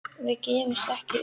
Við gefumst ekki upp